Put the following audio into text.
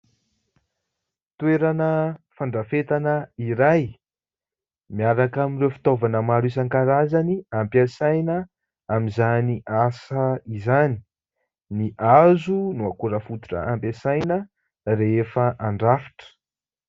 Toerana fandrafetana iray, miaraka amin'ireo fitaovana maro isankarazany ampiasaina amin'izany asa izany. Ny hazo no akora fototra ampiasaina rehefa andrafitra.